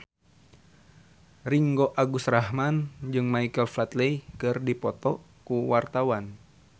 Ringgo Agus Rahman jeung Michael Flatley keur dipoto ku wartawan